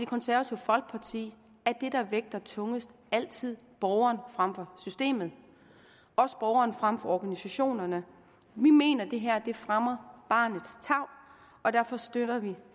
konservative folkeparti er det der vægter tungest altid borgeren frem for systemet også borgeren frem for organisationerne vi mener at det her fremmer barnets tarv derfor støtter vi